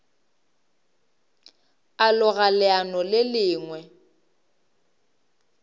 a loga leano le lengwe